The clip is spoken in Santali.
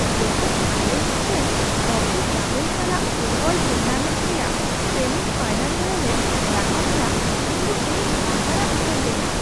ᱡᱚᱠᱷᱚᱱ ᱟᱞᱮ ᱢᱤᱫᱴᱟᱝ ᱨᱚᱠᱤ ᱜᱟᱫᱮᱞ ᱥᱟᱞᱟᱜ ᱯᱷᱩᱴᱵᱚᱞ ᱴᱩᱨᱱᱟᱢᱮᱱᱴ ᱨᱮᱭᱟᱜ ᱥᱮᱢᱤ ᱯᱷᱟᱭᱱᱟᱞ ᱨᱮᱞᱮ ᱨᱟᱠᱟᱵ ᱮᱱᱟ ᱩᱱᱫᱚ ᱤᱧᱤᱧ ᱦᱟᱦᱟᱲᱟᱜ ᱩᱛᱟᱹᱨ ᱞᱮᱱᱟ ᱾